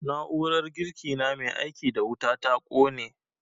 Na'urar girki na mai aiki da wuta ta ƙone